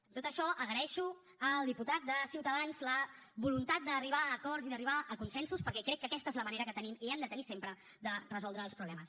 a tot això agraeixo al diputat de ciutadans la voluntat d’arribar a acords i d’arribar a consensos perquè crec que aquesta és la manera que tenim i hem de tenir sempre de resoldre els problemes